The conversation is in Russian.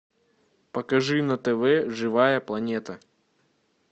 покажи на тв живая планета